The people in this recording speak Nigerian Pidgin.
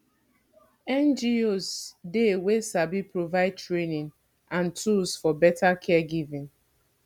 ngos dey wey sabi provide training and tools for better caregiving